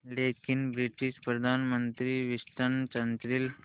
लेकिन ब्रिटिश प्रधानमंत्री Winston Churchill